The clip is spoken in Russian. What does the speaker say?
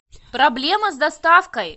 проблема с доставкой